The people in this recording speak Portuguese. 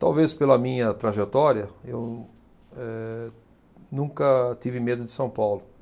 Talvez pela minha trajetória, eu, eh, nunca tive medo de São Paulo.